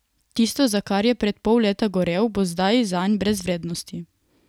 Tisto, za kar je pred pol leta gorel, bo zdaj zanj brez vrednosti.